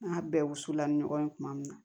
N'a bɛɛ wusula ni ɲɔgɔn ye tuma min na